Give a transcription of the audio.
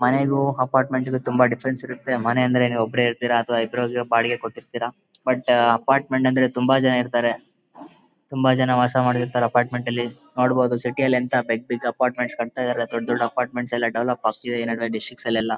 ಮನೆಗು apartment ಗು ತುಂಬಾ difference ಇರತ್ತೆ ಮನೆ ಅಂದ್ರೆ ನೀವ್ ಒಬ್ರೇ ಇರ್ತಿರ ಅಥವಾ ಈ ಇಬ್ರು ಹೋದ್ರೆ ಬಾಡಿಗೆ ಕೊಟ್ಟಿರ್ತೀರಾ. ಬಟ್ ಅಪಾರ್ಟ್ಮೆಂಟ್ ಅಂದ್ರೆ ತುಂಬಾ ಜನ ಇರ್ತಾರೆ ತುಂಬಾ ಜನ ವಾಸಾ ಮಾಡಿರ್ತಾರೆ ಅಪಾರ್ಟ್ಮೆಂಟ್ ಅಲ್ಲಿ ನೋಡಬೋದು ಸಿಟಿ ಅಲ್ಲಿ ಎಂತ ಬಿಗ್ ಬಿಗ್ ಅಪಾರ್ಟ್ಮೆಂಟ್ಸ್ ಕಟ್ತಾ ಇದಾರೆ ದೊಡ್ಡ್ ದೊಡ್ಡ್ ಅಪಾರ್ಟ್ಮೆಂಟ್ ಎಲ್ಲಾ ಡೆವಲಪ್ ಆಗ್ತಿದೆ ಡಿಸ್ಟಿಕ್ಸ್ ಅಲ್ ಎಲ್ಲಾ .